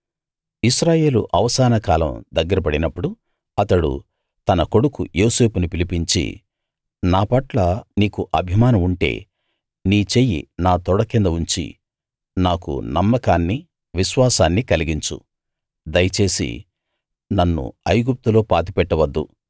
ఇశ్రాయేలు అవసాన కాలం దగ్గర పడినప్పుడు అతడు తన కొడుకు యోసేపును పిలిపించి నాపట్ల నీకు అభిమానం ఉంటే నీ చెయ్యి నా తొడ కింద ఉంచి నాకు నమ్మకాన్నీ విశ్వాసాన్నీ కలిగించు దయచేసి నన్ను ఐగుప్తులో పాతిపెట్టవద్దు